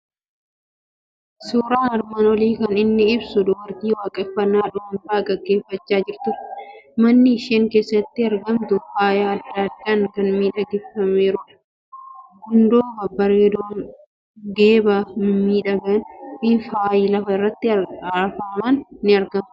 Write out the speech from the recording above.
Suuraan armaan olii kan inni ibsu dubartii waaqeffannaa dhuunfaa gaggeeffachaa jirtudha. Manni isheen keessatti argamtu faaya adda addaan kan miidhagfameerudha. Gundoo babbaareedoon, geephaa mimmiidhagaan fi faayi lafa irratti afaman ni argamu.